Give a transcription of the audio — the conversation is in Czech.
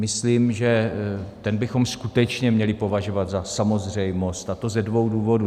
Myslím, že ten bychom skutečně měli považovat za samozřejmost, a to ze dvou důvodů.